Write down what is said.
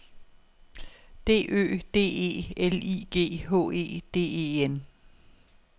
D Ø D E L I G H E D E N